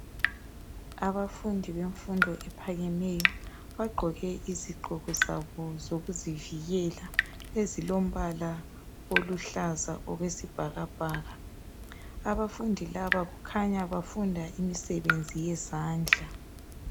Abafundi bemfundo ephakemeyo bagqoke izigqoko zabo zokuzivikela ezilombala oluhlaza okwesibhakabhaka abafundi laba kukhanya bafunda imisebenzi yezandla